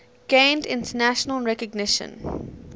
gained international recognition